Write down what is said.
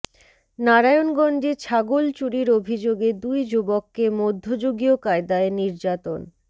নারায়ণগঞ্জে ছাগল চুরির অভিযোগে দুই যুবককে মধ্যযুগীয় কায়দায় নির্যাতন